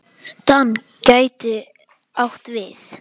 DAN gæti átt við